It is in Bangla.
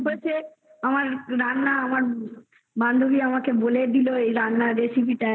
এত সুন্দর একটা recipe যাই হোক এটা করে খাওয়াবো ঠিক আছে